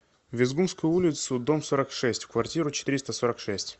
везгумскую улицу дом сорок шесть в квартиру четыреста сорок шесть